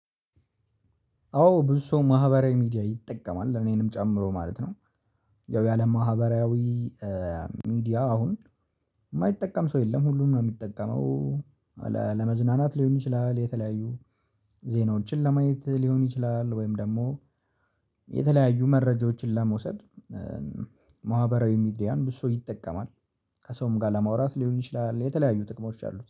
አዎ ብዙ ሰው ማህበራዊ ሚዲያ ይጠቀማል እኔንም ጨምሮ ማለት ነው። ያው ያለ ማህበራዊ ሚዲያ አሁን የማይጠቀም ሰው የለም ሁሉም ነው የሚጠቀመው። ለመዝናናት ሊሆን ይችላል የተለያዩ ዜናዎችን ለማየት ሊሆን ይችላል ወይም ደግሞ የተለያዩ መረጃዎችን ለመውሰድ። ማህበራዊ ሚዲያን ብዙ ሰው ይጠቀማል። ከሰውም ጋር ለማውራት ሊሆን ይችላል የተለያዩ ጥቅሞች አሉት